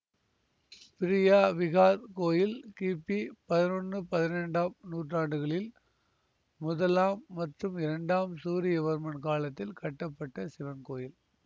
Priya Vihear கோயில் கிபி பதினொன்னு பனிரெண்டாம் நூற்றாண்டுகளில் முதலாம் மற்றும் இரண்டாம் சூரியவர்மன் காலத்தில் கட்டப்பட்ட சிவன் கோயில்